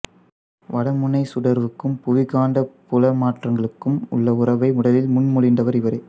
வடமுனைச் சுடர்வுக்கும் புவிக் காந்தப் புல மாற்றங்களுக்கும் உள்ள உறவை முதலில் முன்மொழிந்தவர் இவரே